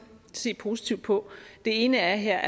se positivt på det ene er her